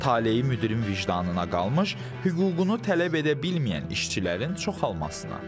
Taleyi müdirin vicdanına qalmış, hüququnu tələb edə bilməyən işçilərin çoxalmasına.